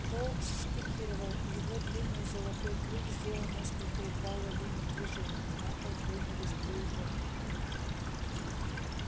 фоукс спикировал его длинный золотой клюв сделал несколько едва уловимых движений и на пол хлынули струи тёмной крови